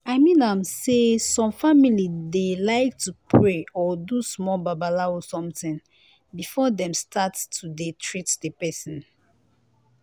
i mean am say some family dey like to pray or do small babalawo somtin before dem start to dey treat di pesin.